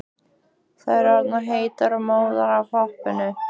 Þær orðnar heitar og móðar af hoppinu.